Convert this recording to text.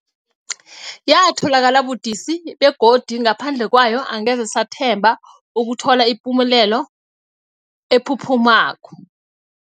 Yatholakala budisi, begodu ngaphandle kwayo angeze sathemba ukuthola ipumelelo ephuphumako.